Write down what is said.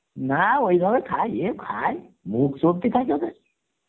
না ঐভাবে খায়, কেউ খায় ভোগ চলতে থাকে ওদের